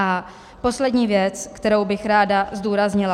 A poslední věc, kterou bych ráda zdůraznila.